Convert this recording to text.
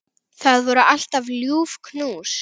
Það voru alltaf ljúf knús.